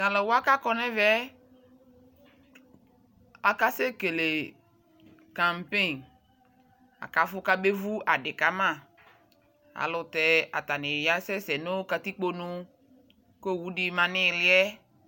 tʋ alʋ wa kʋ akɔnʋ ɛvɛ akasɛ kɛlɛ campaign, akaƒʋ ka abɛ vʋ adi kama alʋtɛ atani asɛsɛ katikpɔ nʋ kʋ ɔwʋdi manʋ iliɛ